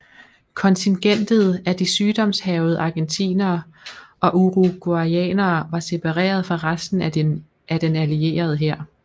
Kontingentet af de sygdomshærgede argentinere og uruguayanere var separeret fra resten af den allierede hær